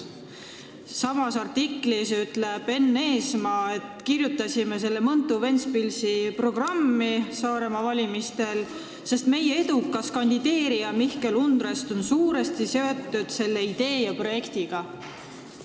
Samas artiklis ütles Enn Eesmaa, et nad kirjutasid selle Mõntu–Ventspilsi liini Saaremaal valimiste programmi, sest nende edukas kandideerija Mihkel Undrest on suuresti selle idee ja projektiga seotud.